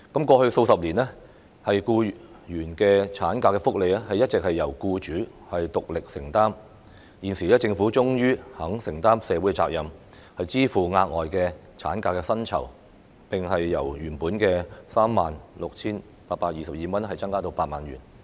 過去數十年，僱員產假福利一直由僱主獨力承擔，現時政府終於肯承擔社會責任，支付額外產假薪酬，並由原本的 36,822 元增至 80,000 元。